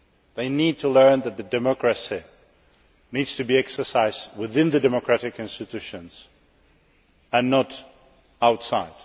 They need to learn that democracy needs to be exercised within the democratic institutions and not outside.